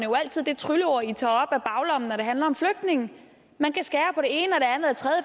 jo altid det trylleord i tager op af baglommen når det handler om flygtninge man